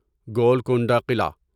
Golconda Qila